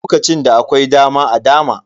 Lokacin da akwai dama a dama.